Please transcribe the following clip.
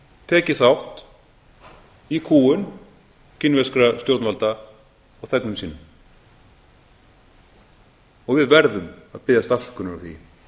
tekið þátt í kúgun kínverskra stjórnvalda á þegnum sínum og við verðum að biðjast afsökunar á því